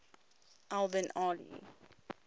al bin ali